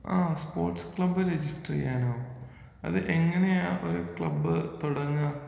ആ sports club register ചെയ്യാനോ ?അത് എങ്ങനെയാ ഒരു ക്ലബ് തുടങ്ങാ?